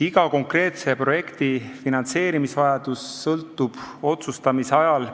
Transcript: Iga konkreetse projekti finantseerimisvajadus sõltub parimast otsustamise ajal